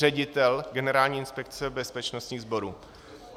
Ředitel Generální inspekce bezpečnostních sborů.